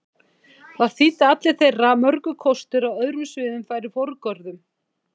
Það þýddi að allir þeirra mörgu kostir á öðrum sviðum færu forgörðum.